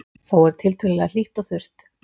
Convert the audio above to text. Þó er tiltölulega hlýtt og þurrt